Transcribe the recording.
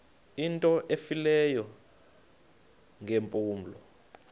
into efileyo ngeempumlo